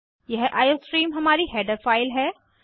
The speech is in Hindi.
यह आईओस्ट्रीम हमारी हैडर फाइल है